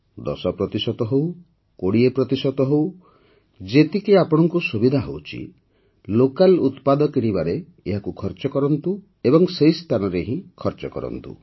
୧୦ ପ୍ରତିଶତ ହେଉ ୨୦ ପ୍ରତିଶତ ହେଉ ଯେତିକି ଆପଣଙ୍କୁ ସୁବିଧା ହେଉଛି ଲୋକାଲ୍ ଉତ୍ପାଦ କିଣିବାରେ ଏହାକୁ ଖର୍ଚ୍ଚ କରନ୍ତୁ ଏବଂ ସେହି ସ୍ଥାନରେ ହିଁ ଖର୍ଚ୍ଚ କରନ୍ତୁ